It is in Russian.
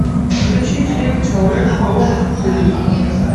включи фильм человек паук три